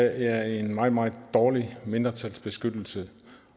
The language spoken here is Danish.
er en meget meget dårlig mindretalsbeskyttelse